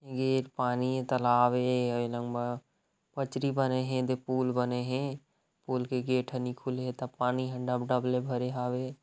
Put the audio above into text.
पानी तालाब है पथरी बने है एदे पूल बने है पुल के गेट अनि खुली त पानी ह डब -डब ले भरे हावे ।